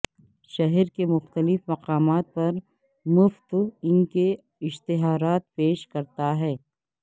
شہر کے مختلف مقامات پر مفت ان کے اشتہارات پیش کرتا ہے